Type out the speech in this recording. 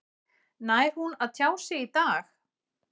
Nær hún að tjá sig í dag?